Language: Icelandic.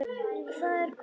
Það er kominn skóli.